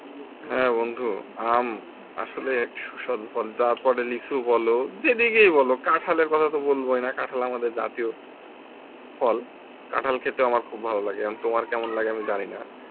হ্যাঁ বন্ধু আম আসলে সুস্বাদু ফল তারপরে লিচু বল যেদিকেই বল কাঁঠালের কথা তো বলবোই না কাঁঠাল আমাদের জাতীয় ফল কাঁঠাল খেতে আমার খুব ভালো লাগে এবার তোমার কেমন লাগে আমি জানিনা